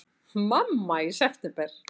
Mamma í september!